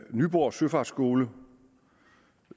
nyborg søfartsskole